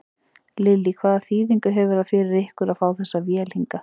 Lillý: Hvaða þýðingu hefur það fyrir ykkur að fá þessa vél hingað?